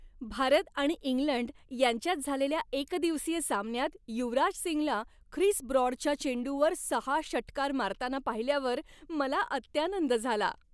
भारत आणि इंग्लंड यांच्यात झालेल्या एकदिवसीय सामन्यात युवराज सिंगला ख्रिस ब्रॉडच्या चेंडूवर सहा षटकार मारताना पाहिल्यावर मला अत्यानंद झाला.